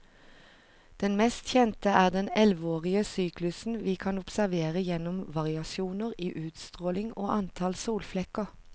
Den mest kjente er den elleveårige syklusen vi kan observere gjennom variasjoner i utstråling og antall solflekker.